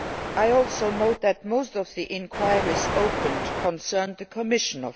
trend. I also note that most of the inquiries opened concerned the Commission.